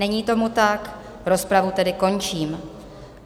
Není tomu tak, rozpravu tedy končím.